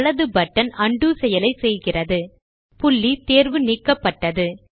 வலது பட்டன் உண்டோ செயலை செய்கிறது புள்ளி தேர்வு நீக்கப்பட்டது